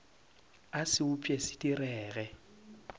a se upše se direge